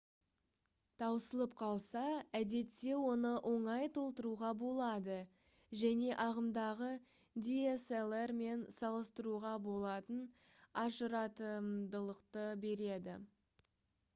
таусылып қалса әдетте оны оңай толтыруға болады және ағымдағы dslr-мен салыстыруға болатын ажыратымдылықты береді